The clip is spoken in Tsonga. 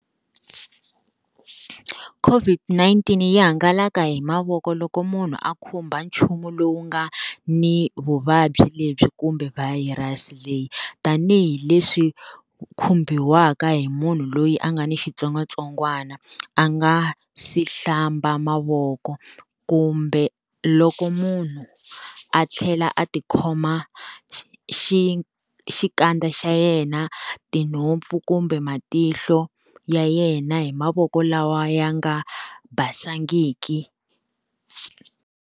COVID-19 yi hangalaka hi mavoko loko munhu a khumba nchumu lowu nga ni vuvabyi lebyi kumbe virus leyi. Tanihi leswi u khumbiwaka hi munhu loyi a nga ni xitsongwatsongwana a nga si hlamba mavoko, kumbe loko munhu a tlhela a tikhoma xi xikandza xa yena, tinhompfu kumbe matihlo ya yena hi mavoko lawa ya nga basangiki.